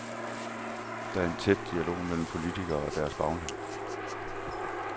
Der er en tæt dialog mellem politikerne og deres bagland.